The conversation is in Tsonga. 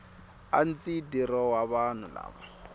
a ndzi dirowa vanhu lava